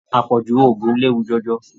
Apọju òògùn léwu jọjọ.